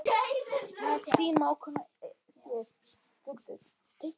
Þín mágkona Sif.